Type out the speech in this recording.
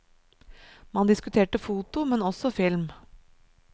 Man diskuterte foto, men også film.